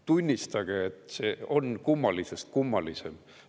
Tunnistage, et see on kummalisest kummalisem!